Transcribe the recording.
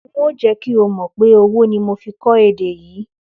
N óò jé̩ kí o mò̩ pé owó ni mo fi kó̩ èdè yìí